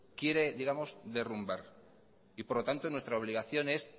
quiere derrumbar y por lo tanto nuestra obligación es